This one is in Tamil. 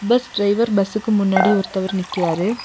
பஸ் டிரைவர் பஸ்ஸுக்கு முன்னாடி ஒருத்தவர் நிக்கிறாரு.